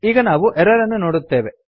ಈಗ ನಾವು ಎರರ್ ಅನ್ನು ನೋಡುತ್ತೇವೆ